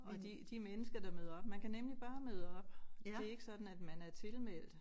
Og de de mennesker der møder op man kan nemlig bare møde op det ikke sådan at man er tilmeldt